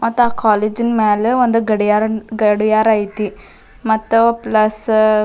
ಮತ್ತ ಆಹ್ಹ್ ಕಾಲೇಜಿನ ಮ್ಯಾಲ ಒಂದ್ ಗಡಿಯಾರ ಗಡಿಯಾರ ಐತಿ ಮತ್ತ ಪ್ಲಸ್ --